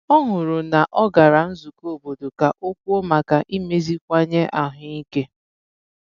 Ọ hụrụ na ọ gara nzụkọ obodo ka ọ kwùo maka imeziwanye ahụike.